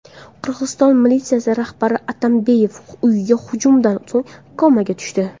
Qirg‘iziston militsiya rahbari Atambayev uyiga hujumdan so‘ng komaga tushdi.